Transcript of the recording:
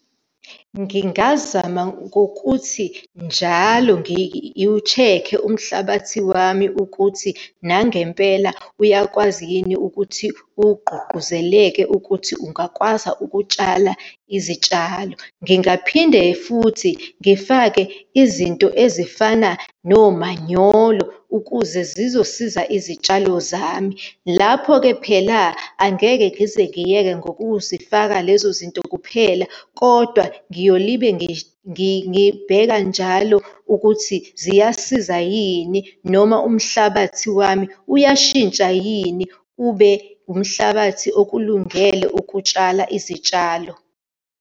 Ngingazama ngokuthi njalo ngiwu-check-e umhlabathi wami ukuthi nangempela uyakwazi yini ukuthi ugqugquzeleke ukuthi ungakwazi ukutshala izitshalo. Ngingaphinde futhi ngifake izinto ezifana nomanyolo ukuze zizosiza izitshalo zami. Lapho-ke phela, angeke ngize ngiyeke ngokuzifaka lezo zinto kuphela, kodwa ngiyolibe ngibheka njalo ukuthi ziyasiza yini noma umhlabathi wami uyashintsha yini ube umhlabathi okulungele ukutshala izitshalo.